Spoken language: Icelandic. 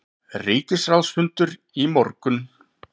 Ríkisráðsfundur í morgun